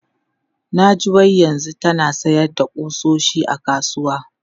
Na ji wai yanzu tana sayar da ƙusoshi a kasuwa.